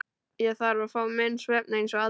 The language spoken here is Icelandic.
Ég þarf að fá minn svefn eins og aðrir.